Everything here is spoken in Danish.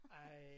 Ej